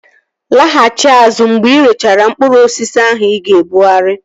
Laghachi azụ mgbe irechara mkpụrụ osisi ahụ ị ga-ebughari!